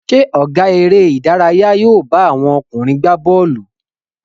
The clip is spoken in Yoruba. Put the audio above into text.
Ṣé ọ̀gá eré-idárayá yóò bá àwọn ọkùnrin gbá bọ́ọ́lù?